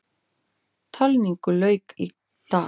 Talningu lauk í dag.